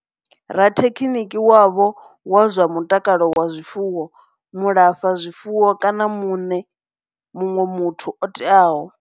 Rathekhiniki wavho wa zwa mutakalo wa zwifuwo, mulafha zwifuwo kana muṋe muthu o teaho.